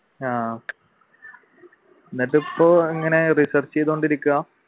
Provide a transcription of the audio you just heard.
ആഹ് അന്നിട്ട് ഇപ്പൊ ഇങ്ങനെ research ചെയ്തോണ്ട് ഇരിക്കാ?